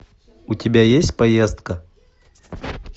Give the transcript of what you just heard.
у тебя есть поездка